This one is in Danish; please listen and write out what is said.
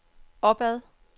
opad